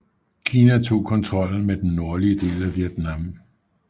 Kina tog kontrollen med den nordlige del af Vietnam